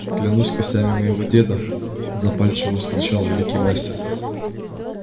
клянусь костями моего деда запальчиво вскричал великий мастер